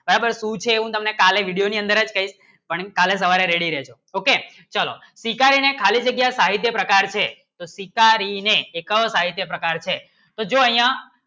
બરાબર શું છે હમને કાલે video ની અંદર ચ છે પણ કાલે સવારે ready રેહજો okay ચલો શિકારી ને ખાલી જગ્યા સાહિત્ય પ્રકાર છે તો જો અય્યા